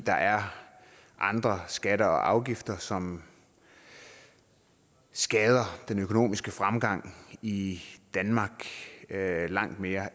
der er andre skatter og afgifter som skader den økonomiske fremgang i danmark langt mere